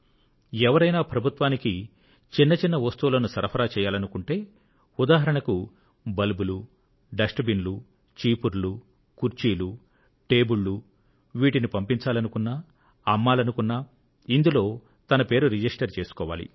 ఎవరైనా ప్రభుత్వానికి చిన్న చిన్న వస్తువులను సరఫరా చేయాలనుకుంటే ఉదాహరణకు బల్బులు డస్ట్ బిన్ లు చీపుర్లు కుర్చీలు టేబుళ్ళు పంపించాలనుకున్నా అమ్మాలనుకున్నా ఇందులో తన పేరు రిజిస్టర్ చేసుకోవాలి